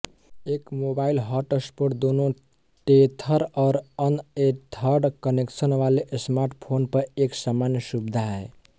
एक mobile hotspot दोनों tether और अनएथर्ड कनेक्शन वाले स्मार्टफ़ोन पर एक सामान्य सुविधा है